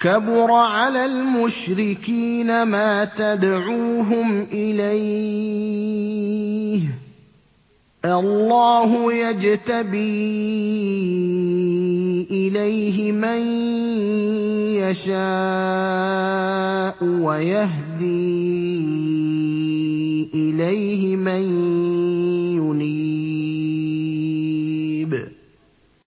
كَبُرَ عَلَى الْمُشْرِكِينَ مَا تَدْعُوهُمْ إِلَيْهِ ۚ اللَّهُ يَجْتَبِي إِلَيْهِ مَن يَشَاءُ وَيَهْدِي إِلَيْهِ مَن يُنِيبُ